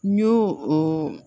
N y'o o